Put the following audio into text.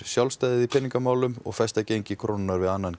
sjálfstæðið í peningamálum og festa gengi krónunnar við annan